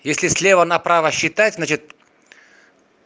если слева направо считать значит